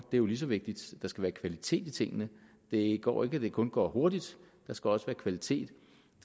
er jo lige så vigtigt der skal være kvalitet i tingene det går ikke at det kun går hurtigt der skal også være kvalitet